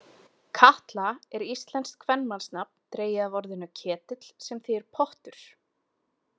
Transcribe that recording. Katla er íslenskt kvenmannsnafn, dregið af orðinu ketill sem þýðir pottur.